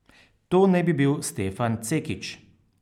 To naj bi bil Stefan Cekić.